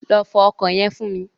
Lọ fọ ọkọ̀ yẹn fún mi.